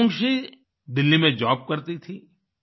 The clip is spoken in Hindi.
अवुन्गशी दिल्ली में जॉब करती थीं